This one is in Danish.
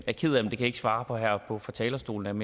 jeg ked af svare på her fra fra talerstolen